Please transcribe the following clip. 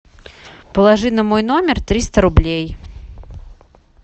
положи на мой номер триста рублей